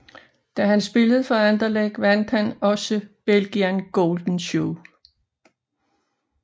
Da han spillede for Anderlecht vandt han også Belgian Golden Shoe